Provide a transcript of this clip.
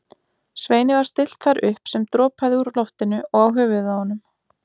Sveini var stillt þar upp sem dropaði úr loftinu og á höfuð honum.